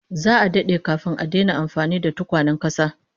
Za'a dade kafin a daina amfani da tukwanen kasa